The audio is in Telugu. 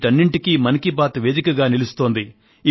వీటన్నింటికీ మన్ కీ బాత్ మనసులో మాట వేదికగా నిలుస్తోంది